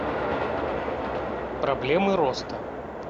проблемы роста